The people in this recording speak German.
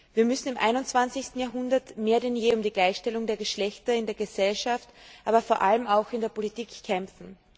Wir müssen im einundzwanzigsten Jahrhundert mehr denn je um die Gleichstellung der Geschlechter in der Gesellschaft, aber vor allem auch in der Politik kämpfen.